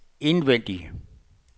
indvendig